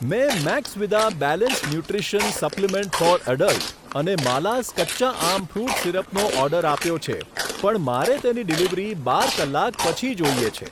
મેં મેક્સવિદા balanced nutrition supplement for adult અને માલાઝ કચ્ચા આમ ફ્રુટ સીરપનો ઓર્ડર આપ્યો છે પણ મારે તેની ડિલિવરી બાર કલાક પછી જોઈએ છે.